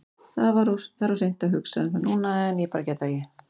Það er of seint að hugsa um það núna en ég get bara ekki.